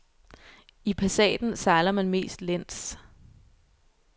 I passaten sejler man mest læns.